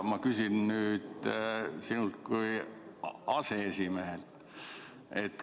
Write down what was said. Ma küsin nüüd sinult kui aseesimehelt.